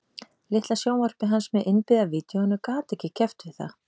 Litla sjónvarpið hans með innbyggða vídeóinu gat ekki keppt við það